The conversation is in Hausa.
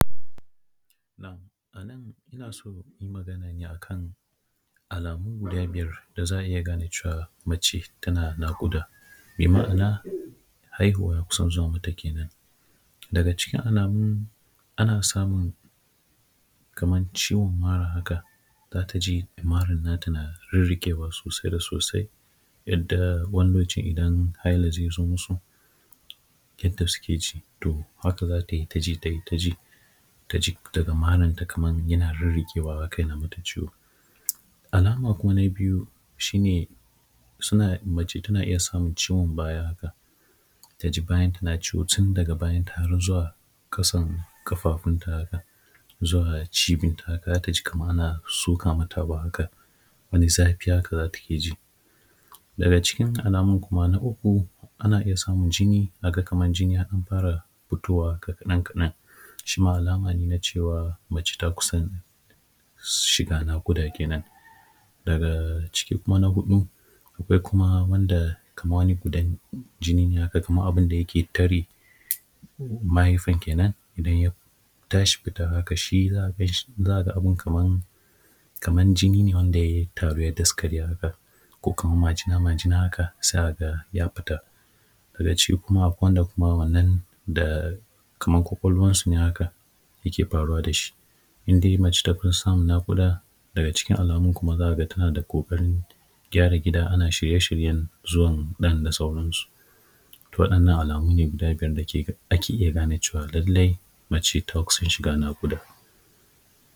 Na’am! A nan ina so ne in yi magana a kan alamu guda biyar da za a iya gane cewa mace tana naƙuda. Bi ma’ana, haihuwa ya kusan zuwa mata ke nan. Daga cikin alamun, ana samun kamar ciwon mara haka, za ta ji maran nata na rirriƙewa sosai da sosai, yadda wani lokaci idan haila zai zo musu, yadda suke ji, to haka za ta yi ta ji, ta yi ta ji, ta ji daga maranta kamar yana rirriƙewa haka yana mata ciwo. Alama kuma na biyu shi ne, suna, mace tana iya samun ciwon baya haka, ta ji bayanta na ciwo tun daga bayanta har zuwa ƙasan ƙafafunta haka, zuwa cibinta haka, za ta ji kamar ana soka mata abu haka, wani zafi haka za ta iya ji. Daga cikin alamun kuma na uku, ana iya samun jini, a ga kamar jini ya ɗan fara fitowa kaɗan-kaɗan, shi ma alama ne na cewa mace ta kusan shiga naƙuda ke nan. Daga cikin kuma na huɗu, akwai wani wanda kamar wani gudan jini ne haka, kamar abin da yake tare mahaifan ke nan, idan ya tashi fita haka, shi za ka gan shi, za a ga abin kamar jini ne wanda ya taru ya daskare haka, ko kamar majina-majina haka, za a ga ya fita. Daga ciki kuma akwai wanda kuma wannan da kamar ƙwaƙwalwansu ne haka yake faruwa da shi. In dai mace ta kusa samun naƙuda, daga cikin alamun kuma, za ka ga tana da ƙoƙarin gyara gida ana shirye-shiryen zuwan ɗan da sauransu. To, waɗannan alamu ne guda biyar da ke, ake iya gane cewa lallai mace ta kusa shiga naƙuda.